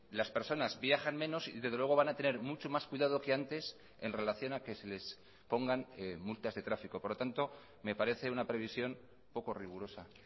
las personas viajan menos y desde luego van a tener mucho más cuidado que antes en relación a que se les pongan multas de tráfico por lo tanto me parece una previsión poco rigurosa